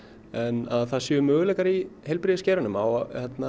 en að það séu möguleikar í heilbrigðisgeiranum á